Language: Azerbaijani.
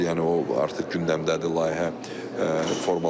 Yəni o artıq gündəmdədir, layihə formalaşır.